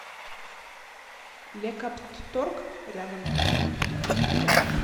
лекоптторг рядом